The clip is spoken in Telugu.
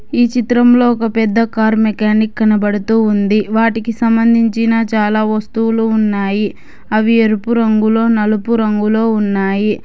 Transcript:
ఈ చిత్రం లో ఒక పెద్ద కారు మెకానిక్ కనబడుతూ ఉంది వాటికి సంబంధించిన చాలా వస్తువులు ఉన్నాయి అవి ఎరుపు రంగులో నలుపు రంగులో ఉన్నాయి.